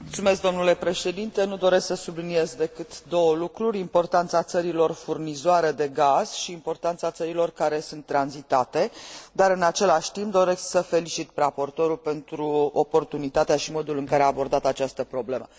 Nu doresc să subliniez decât două lucruri importanța țărilor furnizoare de gaz și importanța țărilor care sunt tranzitate, dar în același timp doresc să felicit raportorul pentru oportunitatea și modul în care a abordat această problemă.